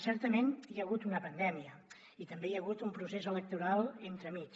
certament hi ha hagut una pandèmia i també hi ha hagut un procés electoral entre mig